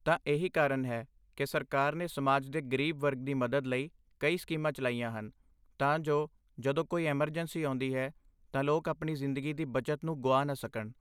ਤਾਂ ਇਹੀ ਕਾਰਨ ਹੈ ਕਿ ਸਰਕਾਰ ਨੇ ਸਮਾਜ ਦੇ ਗਰੀਬ ਵਰਗ ਦੀ ਮਦਦ ਲਈ ਕਈ ਸਕੀਮਾਂ ਚਲਾਈਆਂ ਹਨ, ਤਾਂ ਜੋ ਜਦੋਂ ਕੋਈ ਐਮਰਜੈਂਸੀ ਆਉਂਦੀ ਹੈ, ਤਾਂ ਲੋਕ ਆਪਣੀ ਜ਼ਿੰਦਗੀ ਦੀ ਬੱਚਤ ਨੂੰ ਗੁਆ ਨਾ ਸਕਣ।